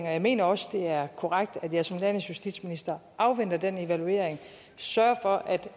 og jeg mener også det er korrekt at jeg som landets justitsminister afventer den evaluering og sørger for at